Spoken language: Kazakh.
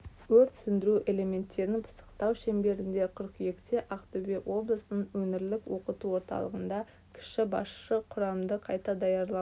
өрт сөндіру элементтерін пысықтау шеңберінде қыркүйекте ақтөбе облысының өңірлік оқыту орталығында кіші басшы құрамды қайта даярлау